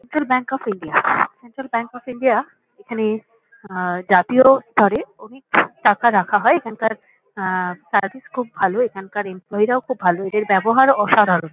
Central bank of India. Central bank of India এখানে আ জাতীয় স্তরে অধিক টাকা রাখা হয়। এখানকার আ সার্ভিস খুব ভালো। এখানকার এমপ্লয়ি -রাও খুব ভালো। এর ব্যবহার অসাধারণ।